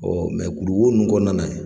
kuluwo ninnu kɔɔna na ye